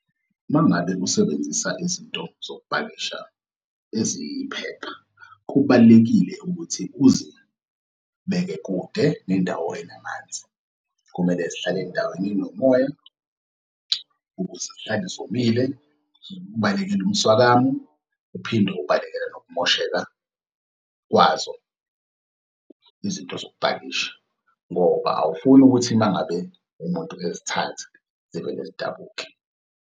Uma ngabe usebenzisa izinto zokupakisha eziyiphepha, kubalulekile ukuthi uzibeke kude nendawo enamanzi, kumele zihlale endaweni enomoya ukuze zihlale zomile ukubalekela umswakamou, uphinde ubalekele nokumosheka kwazo izinto zokupakisha ngoba awufuni ukuthi mangabe umuntu ezithatha zivele zidabuke.